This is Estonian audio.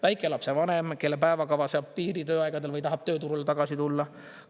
Väikelapse vanem, kelle päevakava seab piiri tööaegadele või tahab tööturule tagasi tulla.